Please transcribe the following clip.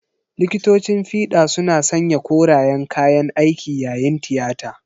Likitocin fida suna sanya korayen kayan aiki yayin tiyata.